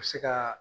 U bɛ se ka